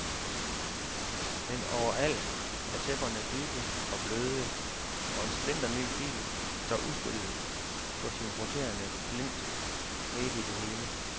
Men overalt er tæpperne dybe og bløde, og en splinterny bil står udstillet på sin roterende plint midt i det hele.